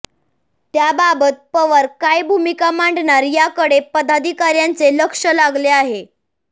त्याबाबत पवार काय भूमिका मांडणार याकडे पदाधिकार्यांचे लक्ष लागले आहे